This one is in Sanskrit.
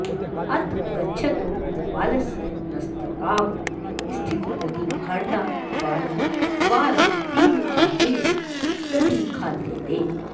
अथ गच्छतो गोपालस्य मस्तकावस्थितदधिभाण्डाद्वारं वारं तेन काकेन दधि खाद्यते